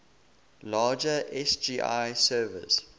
larger sgi servers